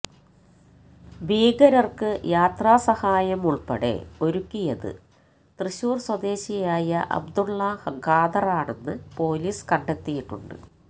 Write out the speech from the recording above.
ഭീകരര്ക്ക് യാത്രാ സഹായം ഉള്പ്പടെ ഒരുക്കിയത് തൃശൂര് സ്വദേശിയായ അബ്ദുള് ഖാദറാണെന്ന് പൊലീസ് കണ്ടെത്തിയിട്ടുണ്ട്